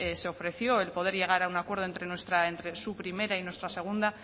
se ofreció el poder llegar a un acuerdo entre su primera y nuestra segunda